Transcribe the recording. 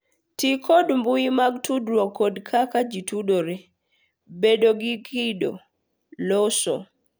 Ti kod mbui mag tudruok kod kaka gitudore, bedo gi kido, loso,